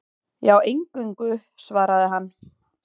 Já, eingöngu, svaraði hann.